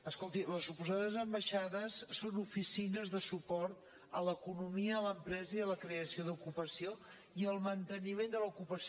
escolti les suposades ambaixades són oficines de suport a l’economia a l’empresa i a la creació d’ocupació i al manteniment de l’ocupació